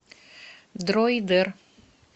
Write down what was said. дроидер